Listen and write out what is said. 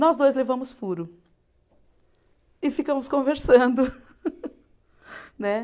Nós dois levamos furo e ficamos conversando. Né